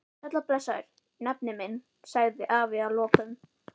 Sæll og blessaður, nafni minn, sagði afi að lokum.